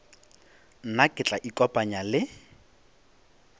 nna ke tla ikopanya le